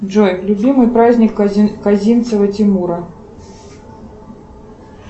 джой любимый праздник козинцева тимура